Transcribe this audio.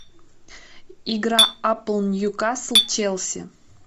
игра апл ньюкасл челси